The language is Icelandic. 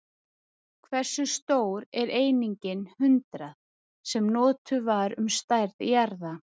Hversu stór er einingin hundrað, sem notuð var um stærð jarða?